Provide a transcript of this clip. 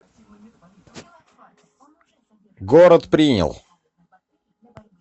город принял